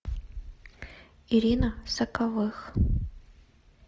ирина соковых